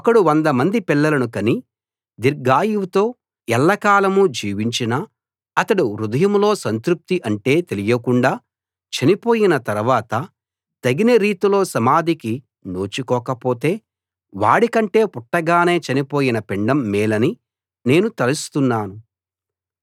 ఒకడు వంద మంది పిల్లలను కని దీర్ఘాయువుతో ఎల్లకాలం జీవించినా అతడు హృదయంలో సంతృప్తి అంటే తెలియకుండా చనిపోయిన తరవాత తగిన రీతిలో సమాధికి నోచుకోకపోతే వాడికంటే పుట్టగానే చనిపోయిన పిండం మేలని నేను తలుస్తున్నాను